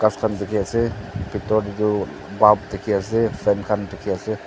khan dikhiase bitor tae toh buld dikhiase fan khan dikhiase.